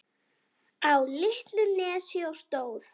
Á litlu nesi stóð